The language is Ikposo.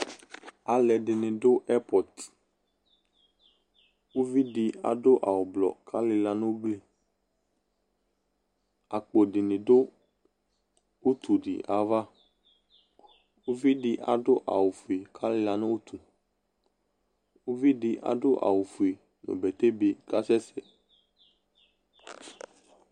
Alɛde ne do ɛpɔtUvi de ado awu ublɔ ka lila no ugliAkpo de ne do utu de ava Uvi de ado awufue ka lela no utueUvi de ado awufue no bɛtɛbe kasɛsɛ